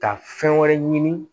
Ka fɛn wɛrɛ ɲini